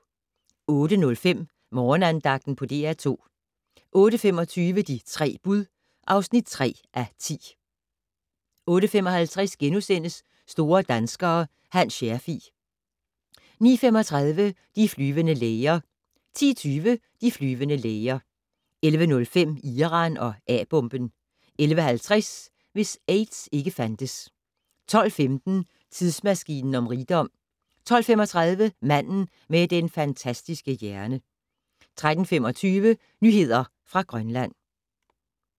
08:05: Morgenandagten på DR2 08:25: De 3 bud (3:10) 08:55: Store danskere - Hans Scherfig * 09:35: De flyvende læger 10:20: De flyvende læger 11:05: Iran og A-bomben 11:50: Hvis aids ikke fandtes 12:15: Tidsmaskinen om rigdom 12:35: Manden med den fantastiske hjerne 13:25: Nyheder fra Grønland